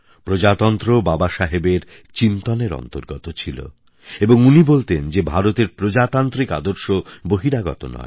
প্রজাতন্ত্র বাবাসাহেবের চিন্তনের অন্তর্গত ছিল এবং উনি বলতেন যে ভারতের প্রজাতান্ত্রিক আদর্শ বহিরাগত নয়